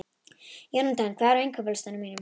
Jónatan, hvað er á innkaupalistanum mínum?